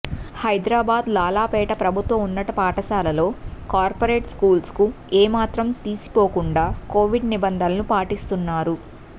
హైదరాబాద్ లాలాపేట ప్రభుత్వ ఉన్నత పాఠశాలలో కార్పొరేట్ స్కూల్స్కు ఏమాత్రం తీసిపోకుండా కొవిడ్ నిబంధనలు పాటిస్తున్నారు